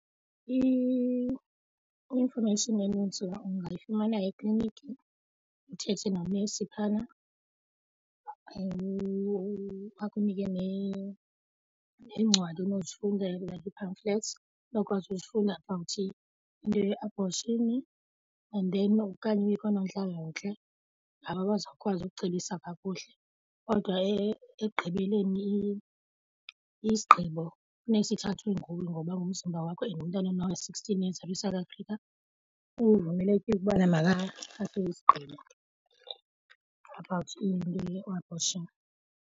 I-information enintsi ungafumana ekliniki, uthethe nonesi phayana akukunike neencwadi onozifundela like ii-pamphlets onokwazi uzifunda about into ye-abortion and then okanye uye koonontlalontle ngabo abazawukwazi ukucebisa kakuhle kodwa ekugqibeleni isigqibo funeke sithathwe nguwe ngoba ngumzimba wakho and umntana ona-sixteen years apha eSouth Afrika uvumelekile ukubana makathathe isigqibo about i-abortion.